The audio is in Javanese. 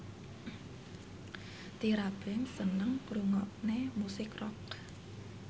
Tyra Banks seneng ngrungokne musik rock